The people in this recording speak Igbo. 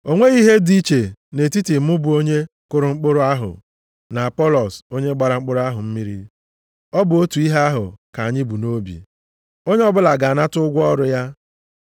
O nweghị ihe dị iche nʼetiti mụ bụ onye kụrụ mkpụrụ ahụ na Apọlọs onye gbara mkpụrụ ahụ mmiri. Ọ bụ otu ihe ahụ ka anyị bu nʼobi. Onye ọbụla ga-anata ụgwọ ọrụ ya.